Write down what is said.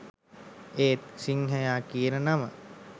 ඒත් සිංහයා කියන නම